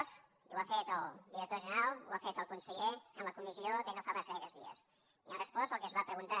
i ho ha fet el director general ho ha fet el conseller en la comissió de no fa pas gaires dies hem respost el que es va preguntar